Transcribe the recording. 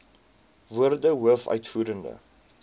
woorde hoof uitvoerende